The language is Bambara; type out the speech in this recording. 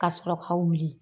Ka sɔrɔ ka wuli